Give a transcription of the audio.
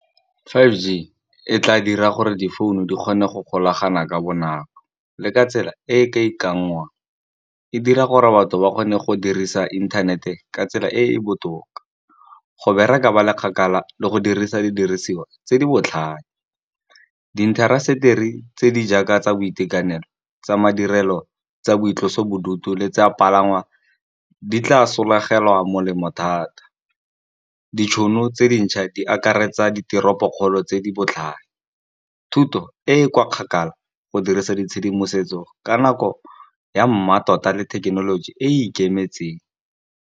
Five G e tla dira gore difounu di kgone go golagana ka bonako, le ka tsela e e ka ikanngwang. E dira gore batho ba kgone go dirisa internet-e ka tsela e e botoka, go bereka ba le kgakala le go dirisa didiriswa tse di botlhale. Di intaseteri tse di jaaka tsa boitekanelo tsa madirelo tsa boitlosobodutu, le tsa palangwa di tla sologela molemo thata. Ditšhono tse dintšha di akaretsa diteropokgolo tse di botlhale, thuto e kwa kgakala go dirisa ditshedimosetso ka nako ya mmatota le thekenoloji e e ikemetseng.